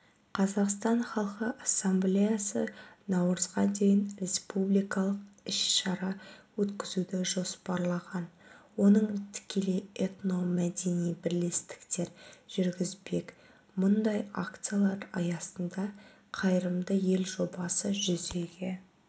қазақстан халқы ассамблеясы наурызға дейін республикалық іс-шара өткізуді жоспарлаған оның тікелей этномәдени бірлестіктер жүргізбек мұндай акциялар аясында қайырымды ел жобасы жүзеге